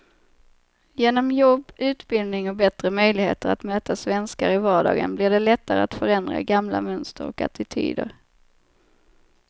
Genom jobb, utbildning och bättre möjligheter att möta svenskar i vardagen blir det lättare att förändra gamla mönster och attityder.